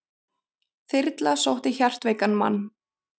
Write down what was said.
Þyrla sótti hjartveikan mann